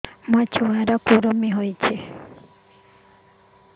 ଛୁଆ ର କୁରୁମି ହୋଇଛି